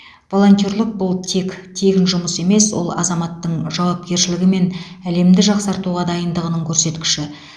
волонтерлік бұл тек тегін жұмыс емес ол азаматтың жауапкершілігі мен әлемді жақсартуға дайындығының көрсеткіші